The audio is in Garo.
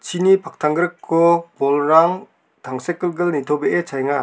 chini paktanggriko bolrang tangsekgilgil nitobee chaenga.